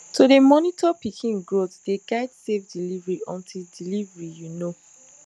to dey monitor pikin growth dey guide safe delivery until delivery you know